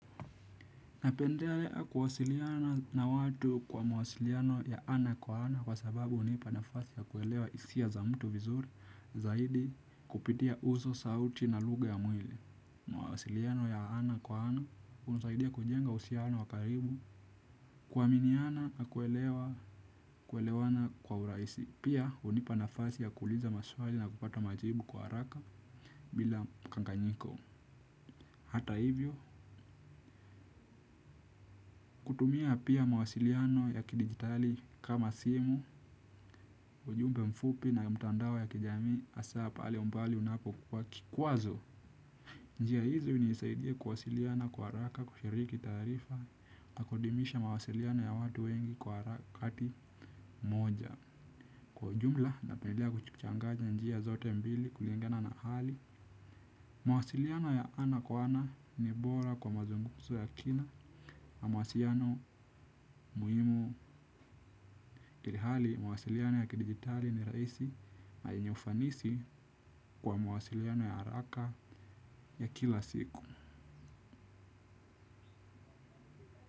Napendelea kuwasiliana na watu kwa mawasiliano ya ana kwa ana kwa sababu hunipa nafasi ya kuelewa hisia za mtu zaidi kupitia uso, sauti, na lugha ya mwili. Mawasiliano ya ana kwa ana hunusaidia kujenga uhusiano wa karibu kuaminiana na kuelewa kuelewana kwa uraisi. Pia hunipa nafasi ya kuuliza maswali na kupata majibu kwa haraka bila mkanganyiko. Hata hivyo, kutumia pia mawasiliano ya kidigitali kama simu, ujumbe mfupi na mtandao ya kijamii hasa pale umbali unapokuwa kikwazo. Njia hizi hunisaidia kuwasiliana kwa haraka kushiriki taarifa, na kudumisha mawasiliano ya watu wengi kwa harakati moja. Kwa jumla napendelea kuchangany'a njia zote mbili kuliengana na hali. Mwasiliano ya ana kwa ana ni bora kwa mazunguzo ya kina. Mwasiliano muhimu ilihali mawasiliano ya kidigitali ni raisi na yenye ufanisi kwa mawasiliano ya haraka ya kila siku.